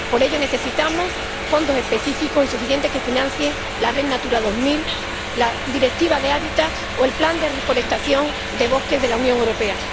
Por ello necesitamos fondos específicos y suficientes que financien la Red Natura 2000, la Directiva Habitat o el plan de reforestación de bosques de la Unión Europea.